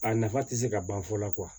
A nafa tɛ se ka ban fɔ la